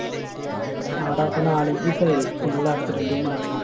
ആഹ്ടാ. ഇപ്പൊ നാലഞ്ച് ദിവസമായി full accident ഉം മരണവും.